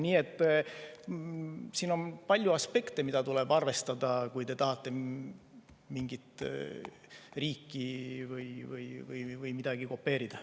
Nii et siin on palju aspekte, mida tuleb arvestada, kui te tahate mingi riigi või midagi muud kopeerida.